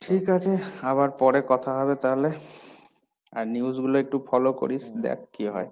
ঠিক আছে, আবার পরে কথা হবে তাহলে, আর news গুলো একটু follow করিস, দেখ কি হয়?